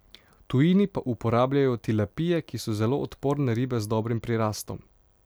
V tujini pa uporabljajo tilapije, ki so zelo odporne ribe z dobrim prirastom.